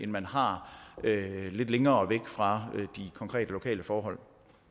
man har lidt længere væk fra de konkrete lokale forhold